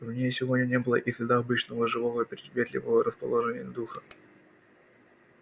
в ней сегодня не было и следа обычного живого и приветливого расположения духа